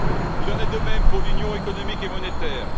Il en est de même pour l'Union économique et monétaire.